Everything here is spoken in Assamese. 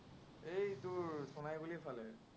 হেই তোৰ সোনাইগুৰিৰফালে